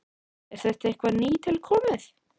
Er þetta eitthvað nýtilkomið?